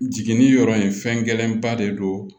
Jiginni yɔrɔ in fɛn gɛlɛnba de don